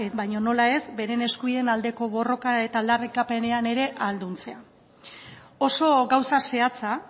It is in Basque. baina nola ez beren eskubideen aldeko borrokan eta aldarrikapenean ere ahalduntzea oso gauza zehatza